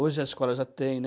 Hoje a escola já tem, né?